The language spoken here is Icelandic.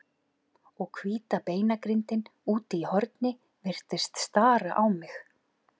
Og hvíta beinagrindin úti í horni virtist stara á mig.